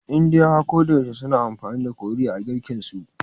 Indiyawa koyaushe suna amfani da curry a girken su